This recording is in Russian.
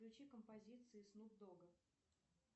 включи композиции снуп дога